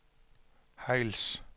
Hejls